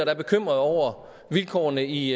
er bekymrede over vilkårene i